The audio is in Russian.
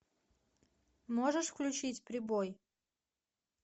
можешь включить прибой